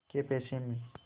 कै पैसे में